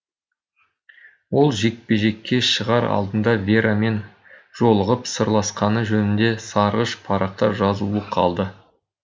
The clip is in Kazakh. ол жекпе жекке шығар алдында верамен жолығып сырласқаны жөнінде сарғыш парақта жазулы қалды